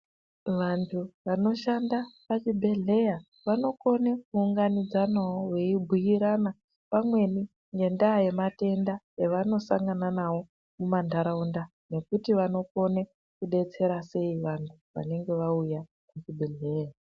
Vantu vanoshanda pachibhedhleya vanokone kuunganidza nawo, veibhuirana pamweni ngendaa yematenda evanosangana nawo mumantharaunda, nekuti vanokone kudetsera sei vanthu vanenga vauya ku chibhedhleya?